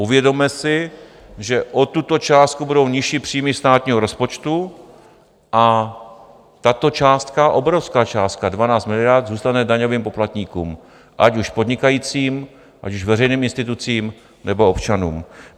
Uvědomme si, že o tuto částku budou nižší příjmy státního rozpočtu a tato částka, obrovská částka, 12 miliard, zůstane daňovým poplatníkům, ať už podnikajícím, ať už veřejným institucím, nebo občanům.